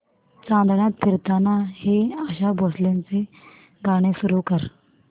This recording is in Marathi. चांदण्यात फिरताना हे आशा भोसलेंचे गाणे सुरू कर